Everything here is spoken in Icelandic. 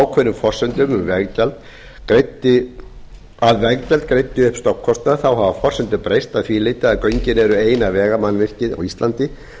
ákveðnum forsendum um að veggjald greiddi upp stofnkostnað þá hafa forsendur breyst að því leyti að göngin eru eina vegamannvirkið á íslandi